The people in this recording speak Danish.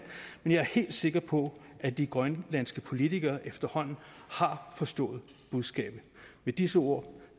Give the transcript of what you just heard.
men jeg er helt sikker på at de grønlandske politikere efterhånden har forstået budskabet med disse ord